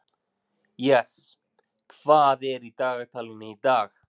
Jes, hvað er í dagatalinu í dag?